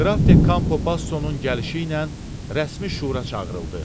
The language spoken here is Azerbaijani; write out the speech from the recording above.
Qraf de Kampo Basosonun gəlişi ilə rəsmi şura çağırıldı.